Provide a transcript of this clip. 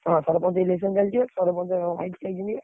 ହଁ ସରପଞ୍ଚ election ଚାଲଛି ବା ସରପଞ୍ଚ ମୋ ଭାଇ ଛିଡା ହେଇଛନ୍ତି ବା।